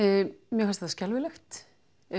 mér fannst þetta skelfilegt